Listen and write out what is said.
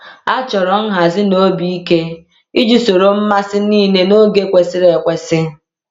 A chọrọ nhazi na obi ike iji soro mmasị niile n’oge kwesịrị ekwesị.